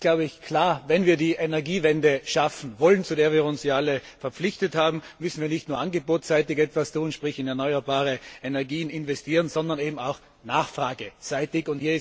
Es ist klar Wenn wir die Energiewende schaffen wollen, zu der wir uns ja alle verpflichtet haben, müssen wir nicht nur angebotsseitig etwas tun, sprich in erneuerbare Energien investieren, sondern auch nachfrageseitig.